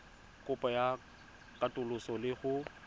kopo ya katoloso le go